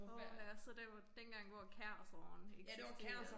Åha så det var dengang hvor Kærseren eksisterede